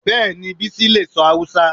Bẹ́ẹ̀ni Bísí lè sọ Hausa